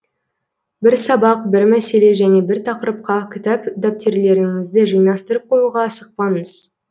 бір сабақ бір мәселе және бір тақырыпқа кітап дәптерлеріңізді жинастырып қоюға асықпаңыз